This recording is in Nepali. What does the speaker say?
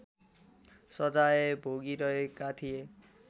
सजाय भोगिरहेका थिए